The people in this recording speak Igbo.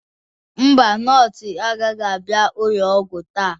Mba, nọọsụ agaghị abịa ụlọ ọgwụ taa.